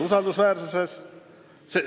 Usaldusväärsus on suurenenud.